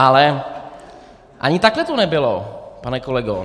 Ale ani takhle to nebylo, pane kolego.